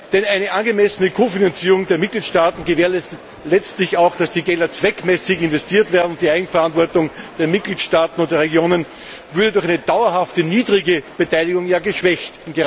Denn eine angemessene Kofinanzierung der Mitgliedstaaten gewährleistet letztlich auch, dass die Gelder zweckmäßig investiert werden, und die Eigenverantwortung der Mitgliedstaaten und der Regionen würde durch eine dauerhafte niedrige Beteiligung ja geschwächt.